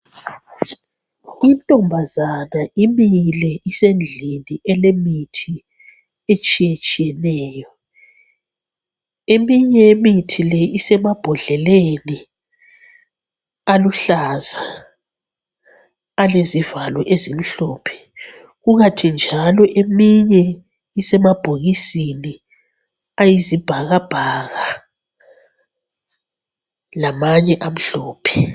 Intombazana imile isendlini elemithi etshiyetshiyeneyo. Eminye yemithi le isemabhodleleni aluhlaza alezivalo ezimhlophe. Kukanti njalo eminye isemabhokisini ayizibhakabhaka lamanye amhlophe.